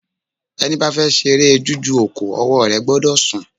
Ẹni ba fe ṣeré jújù òkò, ọwọ́ rẹ̀ gbọ́dọ̀ sùn